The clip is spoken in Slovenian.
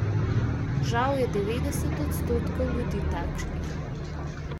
Žal je devetdeset odstotkov ljudi takšnih.